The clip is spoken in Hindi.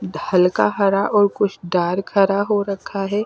हल्का हरा और कुछ डार्क हरा हो रखा है।